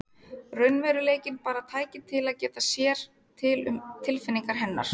Raunveruleikinn bara tæki til að geta sér til um tilfinningar hennar.